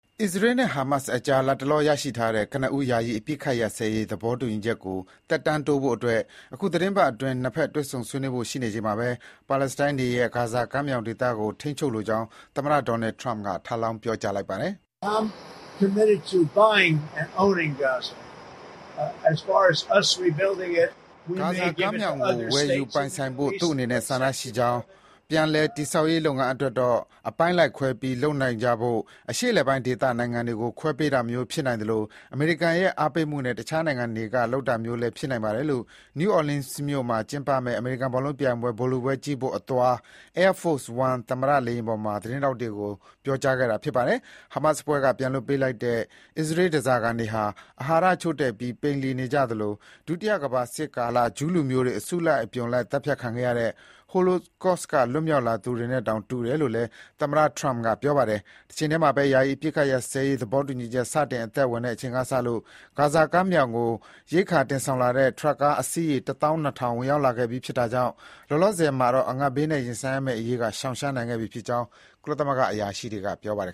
အစ္စရေးနဲ့ ဟာမတ်စ်ကြား လတ်တလောရရှိထားတဲ့ ကနဦး ယာယီအပစ်အခတ်ရပ်စဲရေး သဘောတူ ညီချက်ကို သက်တမ်းတိုးဖို့ အခုသီတင်းပတ်အတွင်း နှစ်ဘက် တွေ့ဆုံဆွေးနွေးဖို့ရှိနေချိန်မှာပဲ ပါလက်စတိုင်းတွေရဲ့ ဂါဇာကမ်းမြောင်ဒေသကို ထိန်းချုပ်လိုကြောင်း သမ္မတ Donald Trump က ထပ်လောင်း ပြောကြားလိုက်ပါတယ်။ ဂါဇာကမ်းမြောင်ကို ဝယ်ယူပိုင်ဆိုင်ဖို့ သူ့အနေနဲ့ဆန္ဒရှိကြောင်း၊ ပြန်လည်တည်ဆောက်ရေးလုပ်ငန်း အတွက်တော့ အပိုင်းလိုက်ခွဲပြီးလုပ်နိုင်ကြဖို့ အရှေ့အလယ်ပိုင်းဒေသနိုင်ငံတွေကို ခွဲပေးတာမျိုး ဖြစ်နိုင်သလို အမေရိကန်ရဲ့အားပေးမှုနဲ့ တခြားနိုင်ငံတွေကလုပ်တာမျိုးလည်း ဖြစ်နိုင်ပါတယ်လို့ New Orleans မြို့မှာကျင်းပမယ့် အမေရိကန်ဘောလုံးပြိုင်ပွဲ ဗိုလ်လုပွဲကြည့်ဖို့အသွား Air Force One သမ္မတ လေယာဉ်ပေါ်မှာ သတင်းထောက်တွေကို ပြောပါတယ်။ ဟာမတ်စ်အဖွဲ့က ပြန်လွှတ်ပေးလိုက်တဲ့ အစ္စရေးဓားစာခံတွေ အာဟာရချို့တဲ့ပြီး ပိန်လှီနေကြပြီး ဒုတိယကမ္ဘာစစ်ကာလ ဂျူးလူမျိုးတွေ အစုလိုက်အပြုံလိုက်သတ်ဖြတ်ခံခဲ့ရတဲ့ Holocaust က လွတ်မြောက်လာသူတွေနဲ့တောင် တူတယ်လို့လည်း သမ္မတ Trump က ပြောပါတယ်။ တချိန်တည်းမှာပဲ ယာယီအပစ်အခတ်ရပ်စဲရေးသဘောတူညီချက် စတင်အသက်ဝင်တဲ့အချိန်ကစလို့ ဂါဇာကမ်းမြောင်ကို ရိက္ခာတွေတင်ဆောင်လာတဲ့ ထရပ်ကား အစီးရေ တသောင်း နှစ်ထောင် (၁၂,၀၀၀) ကျော် ဝင်ရောက်လာခဲ့ပြီးဖြစ်တာကြောင့် လောလောဆယ်မှာ အငတ်ဘေးနဲ့ရင်ဆိုင်ရမယ့်အရေးက ရှောင်ရှားနိုင်ခဲ့ပြီဖြစ်ကြောင်း ကုလသမဂ္ဂ အရာရှိတွေက ပြောပါတယ်